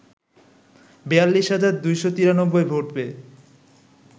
৪২ হাজার ২৯৩ ভোট পেয়ে